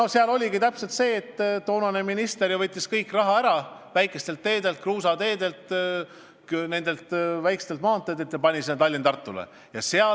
Ja siis oligi täpselt nii, et toonane minister võttis kogu raha kruusateedelt ja muudelt väikestelt maanteedelt ära ja eraldas selle Tallinna–Tartu maanteele.